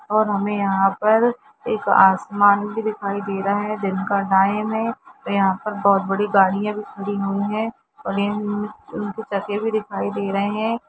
और हमे यह पर एक आसमान बी दिखाई दे रहा है दिन का टाइम है वे यह पर बहुत बड़ी गड़िया बी खड़ी हुई है और ये उनकु टके हुये बी दिखाई दे रहे है।